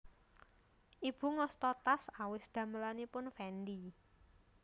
Ibu ngasta tas awis damelanipun Fendi